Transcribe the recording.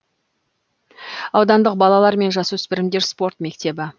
аудандық балалар мен жасөспірімдер спорт мектебі